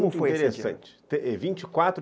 Muito interessante vinte e quatro